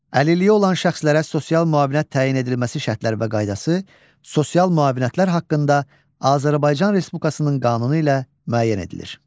Əlilliyi olan şəxslərə sosial müavinət təyin edilməsi şərtlər və qaydası, sosial müavinətlər haqqında Azərbaycan Respublikasının qanunu ilə müəyyən edilir.